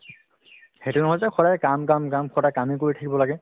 সেইটো নহয় যে সদায় কাম কাম কাম সদায় কামে কৰি থাকিব লাগে